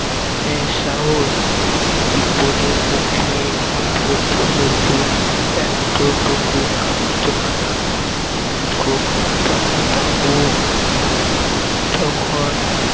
এর সাহস বিপদের মুখে ঝাঁপিয়ে পড়লে বুক এতটুকুও কাঁপতো না গোপাল বাবু যখন